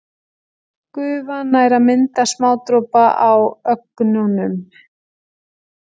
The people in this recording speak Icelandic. Gufan nær að mynda smádropa á ögnunum.